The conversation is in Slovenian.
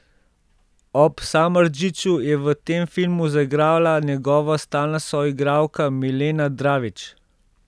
Ob Samardžiću je v tem filmu zaigrala njegova stalna soigralka Milena Dravić.